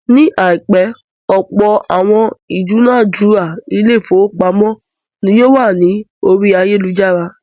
Ní àìpẹ́, ọ̀pọ̀ àwọn ìdúnádura ilé-ìfowópamọ́sí ni yóò wà ní orí ayálujára.